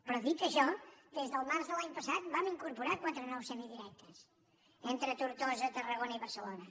però dit això des del març de l’any passat vam incorporar quatre nous semidirectes entre tortosa tarragona i barcelona